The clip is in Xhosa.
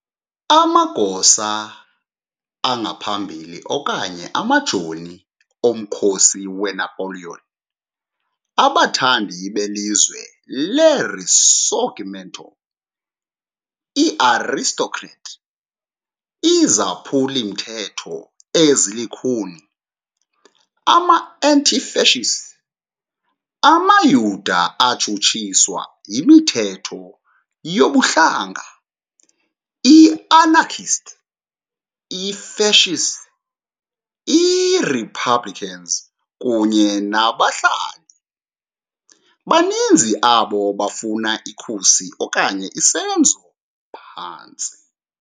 Amagosa angaphambili okanye amajoni omkhosi weNapoleon , abathandi belizwe leRisorgimento, ii-aristocrat, izaphuli-mthetho ezilukhuni, ama -anti-fascists, amaYuda atshutshiswa yimithetho yobuhlanga, i- anarchists, i- fascists, i-republicans kunye nabahlaseli, baninzi abo bafuna ikhusi okanye isenzo phantsi.